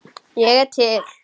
Ég er til